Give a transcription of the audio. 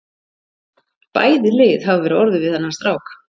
Bæði lið hafa verið orðuð við þennan strák.